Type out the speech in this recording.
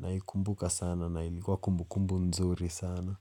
naikumbuka sana na ilikuwa kumbukumbu nzuri sana.